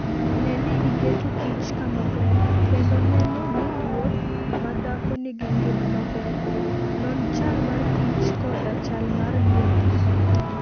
Ne ni iketo kich kamaber, kendo neno ni ruoth madhako nigi ngima maber. Non chal mar kich koda chal mar ngimane.